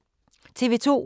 TV 2